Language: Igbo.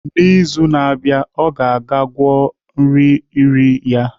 N'izu na-abịa, ọ ga-aga gwọọ nri riri ya.